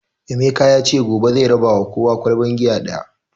Emeka yace gobe zai raba ma kowa ƙwalban giya ɗaya